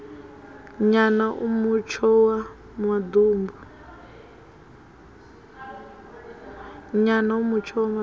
nyana a mutsho wa maḓumbu